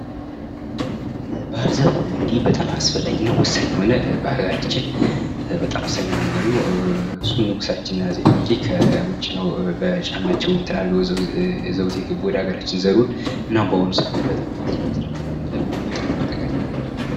ባህር ዛፍ በአጭር ጊዜ ውስጥ ትልቅ ቁመት በመድረሱ የአፈር መሸርሸርን ለመከላከልና የተራቆቱ መሬቶችን መልሶ ለማልማት በስፋት የሚተከል የዛፍ ዝርያ ነው።